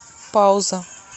пауза